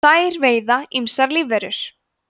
þær veiða ýmsar lífverur